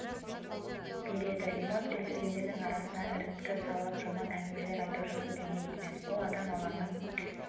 береді иман келтіргендердің арасына іріткі салып жаман әңгімелер айту жақсы дүние емес ол адам алланың